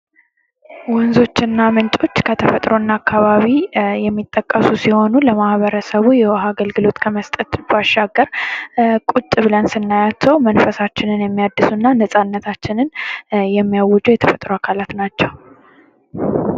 ወንዞችና ምንጮች ከተፈጥሮ እና አከባቢ የሚጠቀሱ ሲሆኑ ለማህበረሰቡ የውሀ አገልግሎት ከመስጠት ባሻገር ቁጭ ብለን ስናያቸው መንፈሳችንን የሚያድሰና ነፃነታችንን የሚያውጁ የተፈጥሮ አካላት ናቸው።